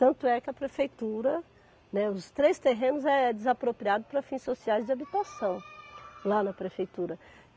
Tanto é que a prefeitura, né, os três terrenos é desapropriados para fins sociais de habitação lá na prefeitura.